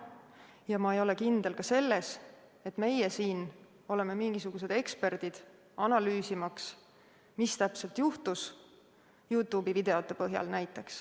Ja ma ei ole kindel ka selles, et meie siin oleme mingisugused eksperdid, analüüsimaks, mis täpselt juhtus, näiteks Youtube'i videote põhjal.